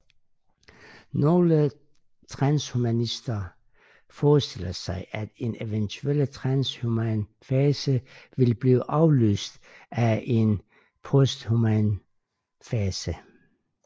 Nogle transhumanister forestiller sig at en eventuel transhuman fase vil blive afløst af en posthuman fase